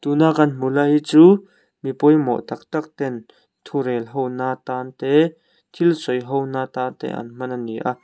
na kan hmuh lai hi chu mi pawimawh tâk tâk ten thu rel ho na tan te thil sawi ho na tan te an hman a ni a.